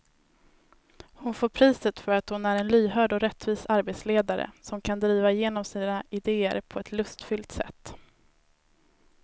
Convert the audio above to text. Hon får priset för att hon är en lyhörd och rättvis arbetsledare som kan driva igenom sina idéer på ett lustfyllt sätt.